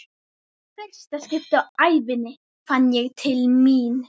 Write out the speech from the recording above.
Í fyrsta skipti á ævinni fann ég til mín.